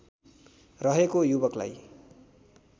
रहेको युवकलाई